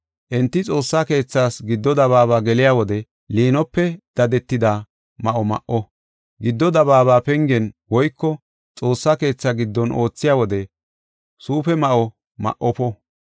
Enti Xoossa keethaas giddo dabaaba geliya wode, liinope dadetida ma7o ma7o; giddo dabaaba pengen woyko Xoossaa keetha giddon oothiya wode suufe ma7o ma77ofa.